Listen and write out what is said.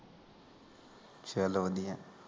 ਚਲੋ ਵਧੀਆ